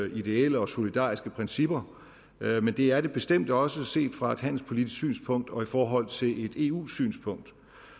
ideelle og solidariske principper men det er det bestemt også set fra et handelspolitisk synspunkt og i forhold til et eu synspunkt